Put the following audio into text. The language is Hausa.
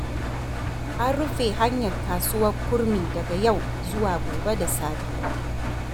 An rufe hanyar kasuwar Kurmi daga yau zuwa gobe da safe.